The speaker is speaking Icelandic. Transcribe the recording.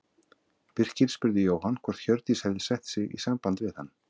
Birkir spurði Jóhann hvort Hjördís hefði sett sig í samband við hann.